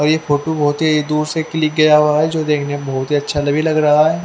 और ये फोटो बहत ही दूर से क्लिक किआ गया है जो देख ने बहत ही अच्छा लग रहा है।